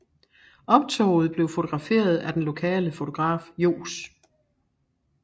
Optoget blev fotograferet af den lokale fotograf Johs